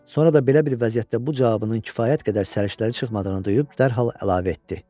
Sonra da belə bir vəziyyətdə bu cavabının kifayət qədər səriştəli çıxmadığını duyub dərhal əlavə etdi.